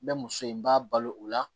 N bɛ muso in b'a balo o la